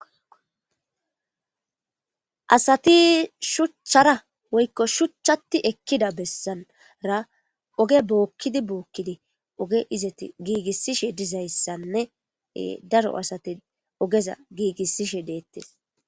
Asathii shuchchara woykko shuchchaththi ekkida bessan ra oge bookkidi bookkidi oge izethi giigissishe dizayssanne ee daro asathi ogeza giigissishe deeththes.